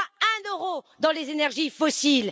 Pas un euro dans les énergies fossiles.